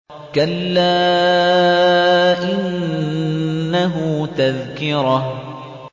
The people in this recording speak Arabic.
كَلَّا إِنَّهُ تَذْكِرَةٌ